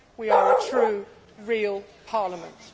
we are a true, real Parliament.